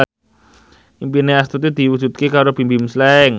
impine Astuti diwujudke karo Bimbim Slank